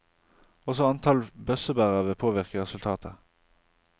Også antall bøssebærere vil påvirke resultatet.